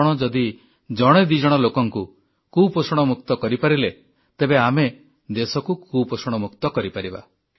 ଆପଣ ଯଦି ଜଣେ ଦିଜଣ ଲୋକଙ୍କୁ କୁପୋଷଣ ମୁକ୍ତ କରିପାରିଲେ ତେବେ ଆମେ ଦେଶକୁ କୁପୋଷଣ ମୁକ୍ତ କରିପାରିବା